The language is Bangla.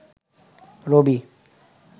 রবি